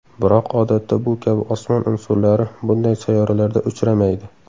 Biroq odatda bu kabi osmon unsurlari bunday sayyoralarda uchramaydi.